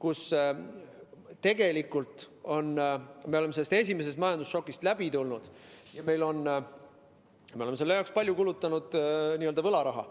Me tegelikult oleme esimesest majandusšokist läbi tulnud, me oleme selle jaoks palju kulutanud n‑ö võlaraha